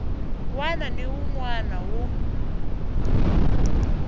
wana ni wun wana wu